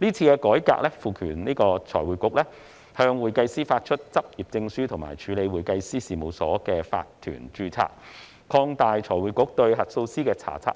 這次改革賦權財匯局向會計師發出執業證書及處理會計師事務所的法團註冊；擴大財匯局對核數師的查察、